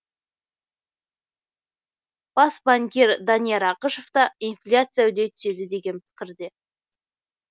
бас банкир данияр ақышев та инфляция үдей түседі деген пікірде